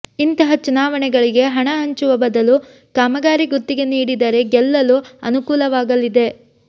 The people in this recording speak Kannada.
ಇಂತಹ ಚುನಾವಣೆಗಳಿಗೆ ಹಣ ಹಂಚುವ ಬದಲು ಕಾಮಗಾರಿ ಗುತ್ತಿಗೆ ನೀಡಿದರೆ ಗೆಲ್ಲಲು ಅನುಕೂಲವಾಗಲಿದೆ